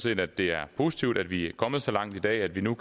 at det er positivt at vi er kommet så langt i dag at vi nu